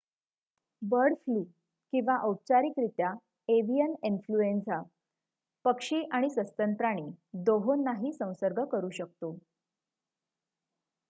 bird flu किंवा औपचारिकरित्या avian influenza पक्षी आणि सस्तन प्राणी दोहोंनाही संसर्ग करू शकतो